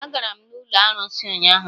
Ee, agara m n'ụlọ arụsị ụnyaahụ.